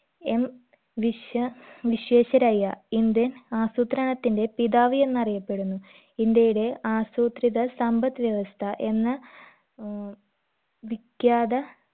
M വിശ്വ Visvesvaraya indian ആസൂത്രണത്തിന്റെ പിതാവ് എന്ന അറിയപ്പെടുന്നു ഇന്ത്യയുടെ ആസൂത്രിത സമ്പദ് വ്യവസ്ഥ എന്ന ഏർ വിഖ്യാത